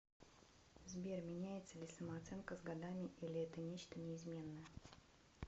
сбер меняется ли самооценка с годами или это нечто неизменное